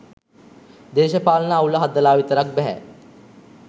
දේශපාලන අවුල හදලා විතරක් බැහැ.